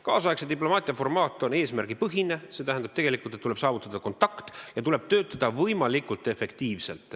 Nüüdisaegse diplomaatia formaat on eesmärgipõhine, see tähendab, et tuleb saavutada kontakt ja tuleb töötada võimalikult efektiivselt.